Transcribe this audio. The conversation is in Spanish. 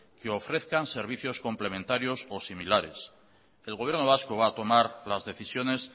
que ofrezcan servicios complementarios o similares el gobierno vasco va a tomar las decisiones